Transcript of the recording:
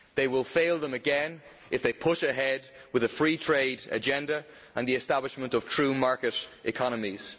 They will fail them again if they push ahead with the free trade agenda and the establishment of true market economies.